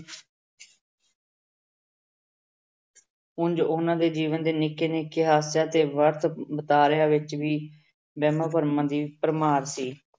ਉਞ ਉਹਨਾਂ ਦੇ ਜੀਵਨ ਦੇ ਨਿੱਕੇ ਨਿੱਕੇ ਹਾਸਿਆਂ ਤੇ ਵਰਤ ਵਤਾਰਿਆਂ ਵਿੱਚ ਵੀ ਵਹਿਮਾਂ ਭਰਮਾਂ ਦੀ ਭਰਮਾਰ ਸੀ।